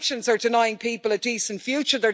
Sanctions are denying people a decent future